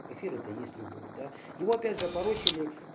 эфир это есть любовь да его опять же опорочили